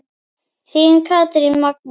Þín Katrín Magnea.